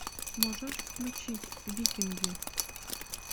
можешь включить викинги